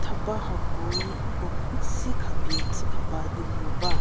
theba hakoe nko si khabie tsu khaba di ngu ba.